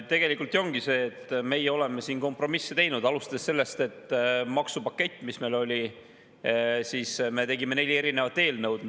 Tegelikult ju ongi see, et meie oleme siin kompromisse teinud, alustades sellest, et maksupaketi, mis meil oli, tegime neljaks erinevaks eelnõuks.